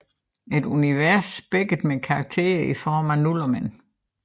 Et univers spækket med karakterer i form af nullermænd